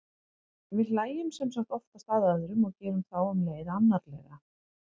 við hlæjum sem sagt oftast að öðrum og gerum þá um leið annarlega